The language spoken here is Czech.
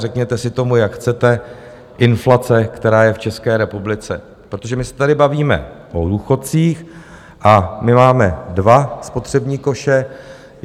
Řekněte si tomu, jak chcete, inflace, která je v České republice, protože my se tady bavíme o důchodcích a my máme dva spotřební koše.